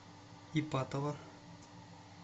ипатово